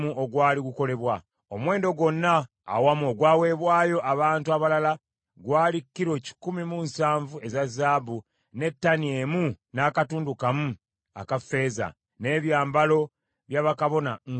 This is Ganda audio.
Omuwendo gwonna awamu ogwawebwayo abantu abalala gwali kilo kikumi mu nsanvu eza zaabu, ne ttani emu n’akatundu kamu aka ffeeza, n’ebyambalo bya bakabona nkaaga mu musanvu.